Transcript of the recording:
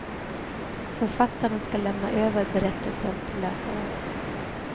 Författaren skall lämna över berättelsen till läsaren.